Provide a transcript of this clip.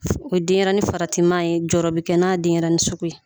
O denɲɛrɛnin faratima ye jɔyɔrɔ bɛ kɛ n'a denɲɛrɛnin sugu ye